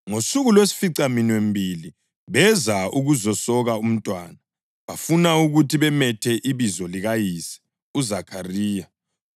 Ngosuku lwesificaminwembili beza ukuzasoka umntwana, bafuna ukuthi bamethe ibizo likayise uZakhariya,